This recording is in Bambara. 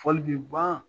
Fɔli bi ban